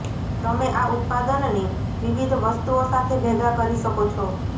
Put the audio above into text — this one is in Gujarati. તમે આ ઉત્પાદનને વિવિધ વસ્તુઓ સાથે ભેગા કરી શકો છો